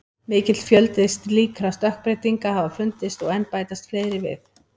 Mikill fjöldi slíkra stökkbreytinga hafa fundist og enn bætast fleiri við.